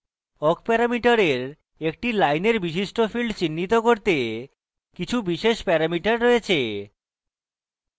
awk প্যারামিটারের একটি লাইনের বিশিষ্ট fields চিহ্নিত করতে কিছু বিশেষ প্যারামিটার রয়েছে